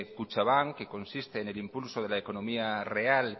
kutxabank que consiste en el impulso de la economía real